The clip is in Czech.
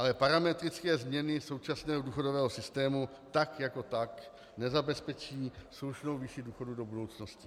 Ale parametrické změny současného důchodového systému tak jako tak nezabezpečí slušnou výši důchodů do budoucnosti.